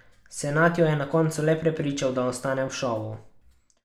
Senad jo je na koncu le prepričal, da ostane v šovu.